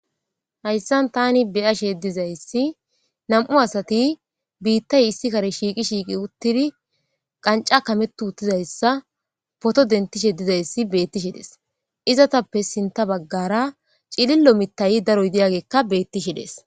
Hayssan tani beyashe dizayssi nam7u asati biittay issi kare shiiqi shiiqi uttidi qanca kametu uttizayssa poto dentishe dizayssi bettishi des izatappe sinta baggara cilillo mittay daro yidiyagekka bettishe dees.